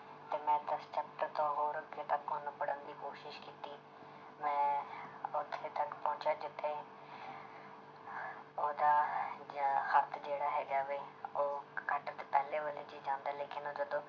ਤੇ ਮੈਂ ਦਸ chapter ਤੋਂ ਹੋਰ ਅੱਗੇ ਤੱਕ ਉਹਨੂੰ ਪੜ੍ਹਨ ਦੀ ਕੋਸ਼ਿਸ਼ ਕੀਤੀ ਮੈਂ ਉੱਥੇ ਤੱਕ ਪਹੁੰਚਿਆ ਜਿੱਥੇ ਉਹਦਾ ਹੱਥ ਜਿਹੜਾ ਹੈਗਾ ਵੇ ਉਹ ਪਹਿਲੇ ਵਾਲੇ 'ਚ ਜਾਂਦਾ ਹੈ ਲੇਕਿੰਨ ਉਹ ਜਦੋਂ